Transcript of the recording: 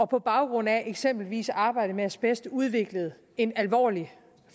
på baggrund af eksempelvis arbejde med asbest har udviklet en alvorlig